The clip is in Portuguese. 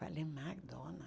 Falei, McDonald's?